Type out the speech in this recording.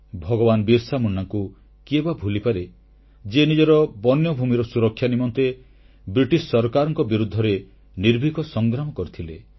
ଭଗବାନ ବିରସା ମୁଣ୍ଡାଙ୍କୁ କିଏ ବା ଭୁଲିପାରେ ଯିଏ ନିଜର ବନ୍ୟଭୂମିର ସୁରକ୍ଷା ନିମନ୍ତେ ବ୍ରିଟିଶ ସରକାରଙ୍କ ବିରୁଦ୍ଧରେ ନିର୍ଭୀକ ସଂଗ୍ରାମ କରିଥିଲେ